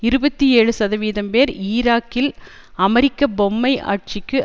இருபத்தி ஏழு சதவீதம் பேர் ஈராகில் அமெரிக்க பொம்மை ஆட்சிக்கு